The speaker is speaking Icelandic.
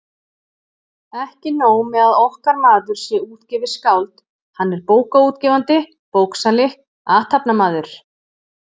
Ekki nóg með að okkar maður sé útgefið skáld, hann er bókaútgefandi, bóksali, athafnamaður!